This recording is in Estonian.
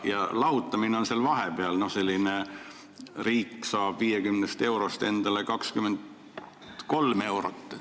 Ja lahutamine on seal vahepeal: riik saab 50 eurost endale 23 eurot.